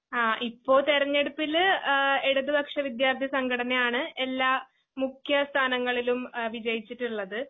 അ ഇപ്പൊതിരെഞ്ഞെടുപ്പില് ആഹ് ഇടതുപക്ഷവിദ്യാർത്ഥിസംഘടനയാണ് എല്ലാ മുഖ്യസ്ഥാനങ്ങളിലും അ വിജയിച്ചിട്ടുള്ളത്.